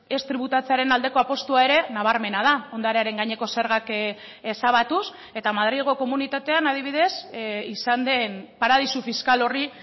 ez tributatzearen aldeko apustua ere nabarmena da ondarearen gaineko zergak ezabatuz eta madrilgo komunitatean adibidez izan den paradisu fiskal horri